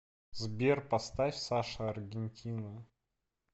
сбер поставь саша аргентина